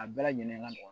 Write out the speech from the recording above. A bɛɛ lajɛlen ka nɔgɔ